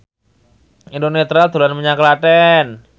Eno Netral dolan menyang Klaten